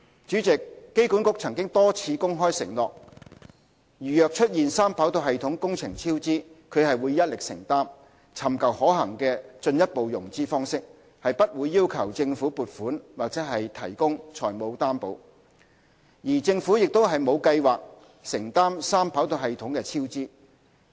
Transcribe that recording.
主席，機管局曾多次公開承諾，如若出現三跑道系統工程超支，它會一力承擔，尋求可行的進一步融資方式，不會要求政府撥款或提供財務擔保，而政府亦沒有計劃承擔三跑道系統的超支。